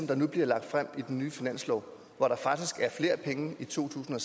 der nu bliver lagt frem i den nye finanslov hvor der faktisk er flere penge i to tusind